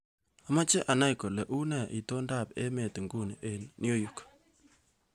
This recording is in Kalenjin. Amache anei kole unee itondoab emet nguni eng New York